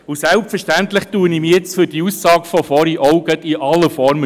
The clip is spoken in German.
Und selbstverständlich entschuldige ich mich auch gerade in aller Form für die Aussage vorhin.